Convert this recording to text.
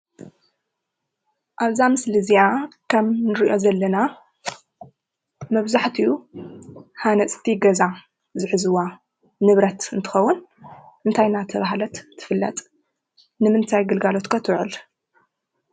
ኣብዛ ምስሊ እዚኣ ከም እንርእዮ ዘለና መብዛሕቲኡ ሃነፅቲ ገዛ ዝሕዝዋ ንብረት እንትኸውን እንታይ እንዳተባሃለት ትፈለጥ? ንምንታይ ግልጋሎት ከ ትወዕል?